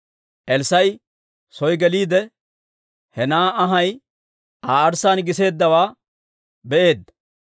Elssaa'i soo geliide, he na'aa anhay Aa arssaan giseeddawaa be'eedda.